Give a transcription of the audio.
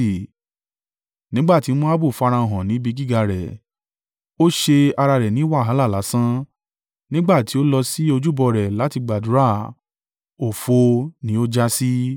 Nígbà tí Moabu farahàn ní ibi gíga rẹ̀, ó ṣe ara rẹ̀ ní wàhálà lásán; nígbà tí ó lọ sí ojúbọ rẹ̀ láti gbàdúrà òfo ni ó jásí.